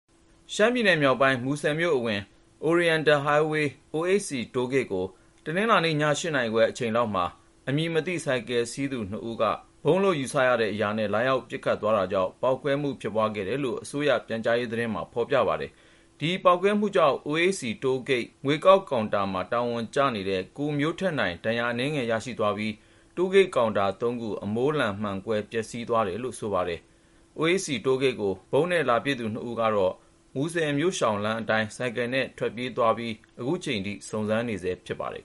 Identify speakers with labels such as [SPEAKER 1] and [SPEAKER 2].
[SPEAKER 1] ရှမ်းပြည်နယ်(မြောက်ပိုင်း)၊ မူဆယ်မြို့အဝင် Oriental Highway (OHC) တိုးဂိတ်ကို တနင်္လာနေ့ ည(၈)နာရီခွဲ အချိန်လောက်မှာ အမည်မသိ ဆိုင်ကယ်စီးသူ နှစ်ဦးက ဗုံးလို့ ယူဆရတဲ့ အရာနဲ့ လာရောက်ပစ်ခတ် သွားတာကြောင့် ပေါက်ကွဲမှု ဖြစ်ပွားခဲ့တယ်လို့ အစိုးရ ပြန်ကြားရေး သတင်းမှာ ဖေါ်ပြပါတယ်။ ဒီ ပေါက်ကွဲမှုကြောင့် (OHC) တိုးဂိတ်ငွေကောက်ကောင်တာ တာဝန်ကျ ကိုမျိုးထက်နိုင် ဒဏ်ရာအနည်းငယ်ရသ ွားပြီး၊ တိုးဂိတ် ကောင်တာ (၃)ခု အမိုးလန် မှန်ကွဲ သွားတယ်လို့ ဆိုပါတယ်။ (OHC) တိုးဂိတ်ကို ဗုံးနဲ့လာပစ်သူနှစ်ဦးက တော့ မူဆယ် မြို့ရှောင်လမ်းအတိုင်း ဆိုင်ကယ်နဲ့ မောင်းပြေး တိမ်းရှောင်သ ွားပြီး ခုချိန်ထိ စုံစမ်းနေဆဲ ဖြစ်
[SPEAKER 2] ပါတယ်